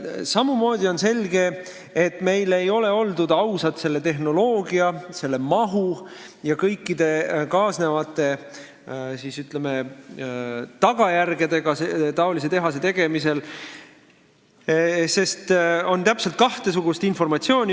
Samamoodi on selge, et meil ei ole oldud ausad tehnoloogia, mahu ja kõikide tehase rajamisega kaasnevate tagajärgedega, sest on täpselt kahesugust informatsiooni.